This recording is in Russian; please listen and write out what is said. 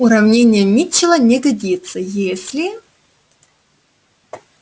уравнение митчелла не годится если